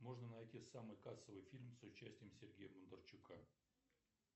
можно найти самый кассовый фильм с участием сергея бондарчука